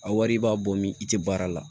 A wari b'a bɔ min i tɛ baara la